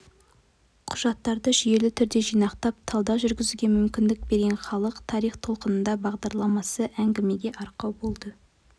құжаттарды жүйелі түрде жинақтап талдау жүргізуге мүмкіндік берген халық тарих толқынында бағдарламасы әңгімеге арқау болды